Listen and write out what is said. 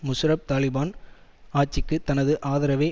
முஷாரஃப் தலிபான் ஆட்சிக்குத் தனது ஆதரவை